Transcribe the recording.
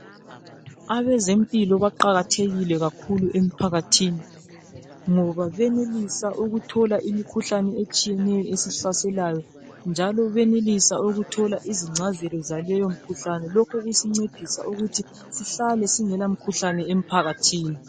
Abezempilo baqakathekile kakhulu emphakathini ngoba benelisa ukuthola imikhuhlane etshiyeneyo esihlaselanyo njalo benelisa ukuthola izingcazelo zaleyo mkhuhlane lokho kuyasincedisa ukuthi sihlale singela mkhuhlane emphakathini.